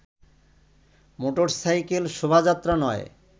motorcycle শোভাযাত্রা নয়